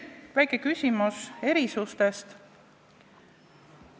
Ja veel väike küsimus erisuste kohta.